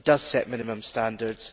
it does set minimum standards.